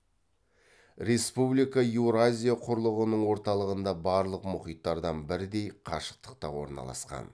республика еуразия құрлығының орталығында барлық мұхиттардан бірдей қашықтықта орналасқан